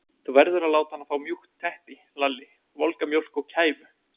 Þú verður að láta hana fá mjúkt teppi, Lalli, volga mjólk og kæfu.